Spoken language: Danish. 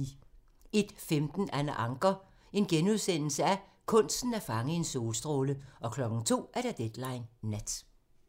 01:15: Anna Ancher - kunsten at fange en solstråle * 02:00: Deadline Nat